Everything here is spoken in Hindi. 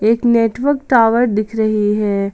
एक नेटवर्क टावर दिख रही है।